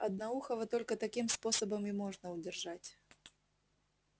одноухого только таким способом и можно удержать